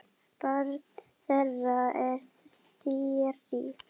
Barn þeirra er Þyrí.